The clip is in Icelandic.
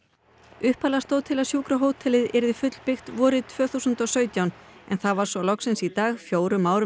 upphaflega stóð til að sjúkrahótelið yrði fullbyggt vorið tvö þúsund og sautján en það var svo loksins í dag fjórum árum